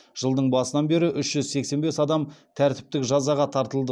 жылдың басынан бері үш жүз сексен бес адам тәртіптік жазаға тартылды